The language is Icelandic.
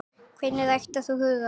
Hvernig ræktar þú hugann?